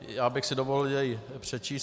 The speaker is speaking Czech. Já bych si dovolil jej přečíst.